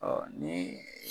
Ɔ nin